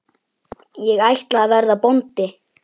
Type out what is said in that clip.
Ég ætla að verða bóndi